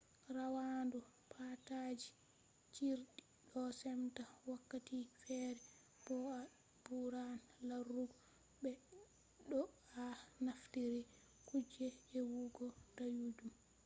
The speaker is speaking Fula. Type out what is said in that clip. rawandu paadaaji cirɗi ɗo semtaa wakkati feere bo'o a ɓuran larugo be to a naftiri kuje ewugo dayuɗum